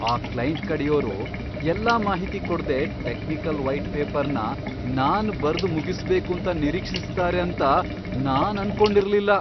ಆ ಕ್ಲೈಂಟ್ ಕಡೆಯೋರು ಎಲ್ಲಾ ಮಾಹಿತಿ ಕೊಡ್ದೆ ಟೆಕ್ನಿಕಲ್ ವೈಟ್ ಪೇಪರ್ನ ನಾನ್ ಬರ್ದ್ ಮುಗಿಸ್ಬೇಕೂಂತ ನಿರೀಕ್ಷಿಸ್ತಾರೆ ಅಂತ ನಾನ್ ಅನ್ಕೊಂಡಿರ್ಲಿಲ್ಲ.